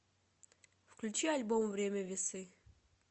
включи альбом время весы